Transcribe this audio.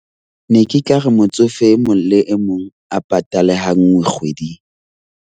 Ne ke ka re motsofe e mong le e mong a patale ha nngwe kgweding.